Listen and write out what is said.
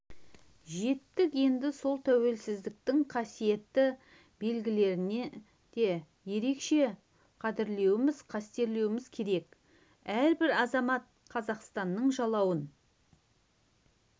жеттік енді сол тәуелсіздіктің қасиетті белгілерін де ерекше қадірлеуіміз қастерлеуіміз керек әрбір азамат қазақстанның жалауын